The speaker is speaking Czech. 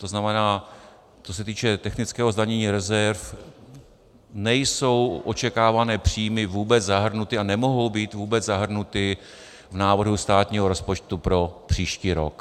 To znamená, co se týče technického zdanění rezerv, nejsou očekávané příjmy vůbec zahrnuty a nemohou být vůbec zahrnuty v návrhu státního rozpočtu pro příští rok.